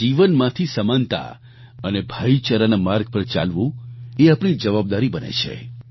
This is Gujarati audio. તેમના જીવનમાંથી સમાનતા અને ભાઈચારાના માર્ગ પર ચાલવું એ આપણી જવાબદારી બને છે